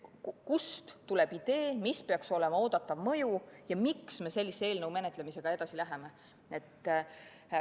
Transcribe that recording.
Kust tuleb idee, mis peaks olema oodatav mõju ja miks me sellise eelnõu menetlemisega edasi läheme?